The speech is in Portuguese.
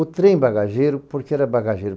O trem bagageiro, por que era bagageiro?